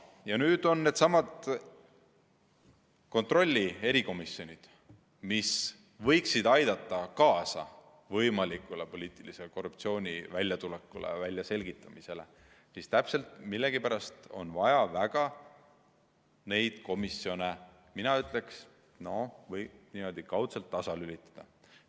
Needsamad kontrolli erikomisjonid võiksid aidata kaasa võimaliku poliitilise korruptsiooni väljatulekule, väljaselgitamisele, aga millegipärast on väga vaja neid komisjone niimoodi kaudselt tasalülitada.